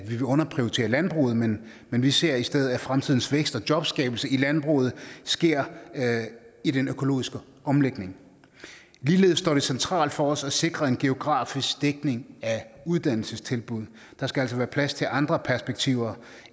vil underprioritere landbruget men men vi ser i stedet at fremtidens vækst og jobskabelse i landbruget sker i den økologiske omlægning ligeledes står det centralt for os at sikre en geografisk dækning af uddannelsestilbud der skal altså være plads til andre perspektiver